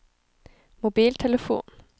mobiltelefon